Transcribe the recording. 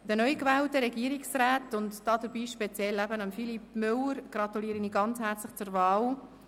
Den neugewählten Regierungsräten und speziell Regierungsrat Philippe Müller gratuliere ich ganz herzlich zur Wahl.